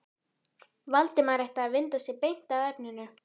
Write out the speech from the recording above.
Valdimar ætti að vinda sér beint að efninu.